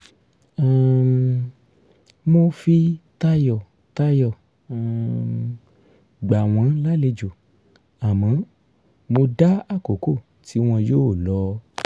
um mo fi tayọ̀tayọ̀ um gbà wọ́n lálejò àmọ́ mo dá àkókò tí wọn yóò lọ